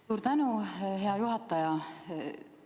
Suur tänu, hea juhataja!